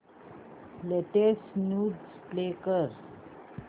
latest news play कर